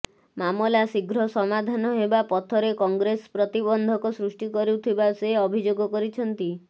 ମାମଲା ଶୀଘ୍ର ସମାଧାନ ହେବା ପଥରେ କଂଗ୍ରେସ ପ୍ରତିବନ୍ଧକ ସୃଷ୍ଟି କରୁଥିବା ସେ ଅଭିଯୋଗ କରିଛନ୍ତି